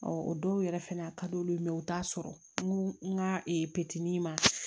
o dɔw yɛrɛ fɛnɛ a ka di olu ye u t'a sɔrɔ n go n ka pɛntiri ma